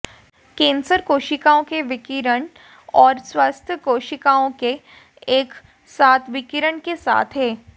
cancer कोशिकाओं के विकिरण और स्वस्थ कोशिकाओं के एक साथ विकिरण के साथ है